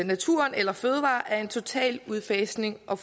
naturen eller fødevarer er en total udfasning og